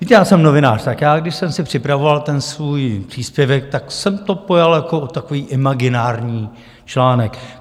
Víte, já jsem novinář, tak já když jsem si připravoval ten svůj příspěvek, tak jsem to pojal jako takový imaginární článek.